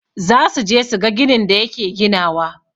Zasuje suga ginin da yake ginawa.